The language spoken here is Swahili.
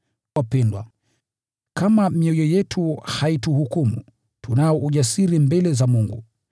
Wapendwa, kama mioyo yetu haituhukumu, tunao ujasiri mbele za Mungu,